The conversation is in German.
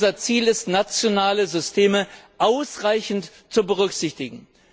Unser Ziel ist, nationale Systeme ausreichend zu berücksichtigen.